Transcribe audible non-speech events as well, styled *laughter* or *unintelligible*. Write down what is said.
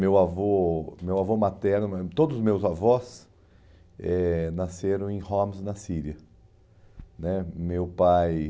Meu avô meu avô materno, *unintelligible* todos os meus avós eh nasceram em Homs, na Síria, né, meu pai...